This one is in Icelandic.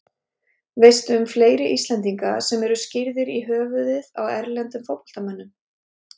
Veistu um fleiri Íslendinga sem eru skírðir í höfuðið á erlendum fótboltamönnum?